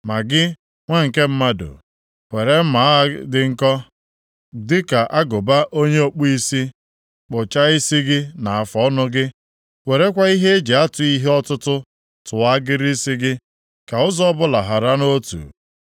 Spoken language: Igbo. “Ma gị, nwa nke mmadụ, were mma agha dị nkọ dịka agụba onye ọkpụisi, kpụchaa isi gị na afụọnụ gị; werekwa ihe e ji atụ ihe ọtụtụ tụọ agịrị isi gị, ka ụzọ ọbụla hara nʼotu.